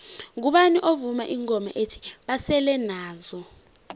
ngubani ovuma ingoma ethi basele nazo